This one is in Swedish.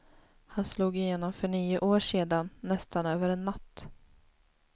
Han slog igenom för nio år sedan, nästan över en natt.